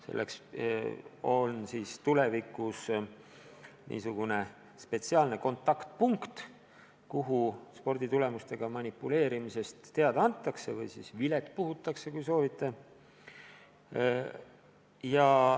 Selleks luuakse tulevikus spetsiaalne kontaktpunkt, kuhu sporditulemustega manipuleerimisest teada antakse ehk siis vilet puhutakse, kui soovite.